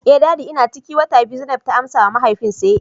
eh daddy ina ciki wata biyu zainab ta amsawa mahaifi say